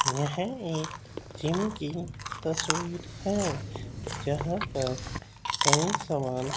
यह एक जिम की तस्वीर है जहां पर कई सामान--